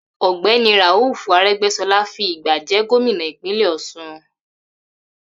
Ò̩gbé̩ni Rauf Aré̩gbé̩s̩o̩lá fi ìgbà jé̩ gómìnà Ìpínlè̩ Ò̩s̩un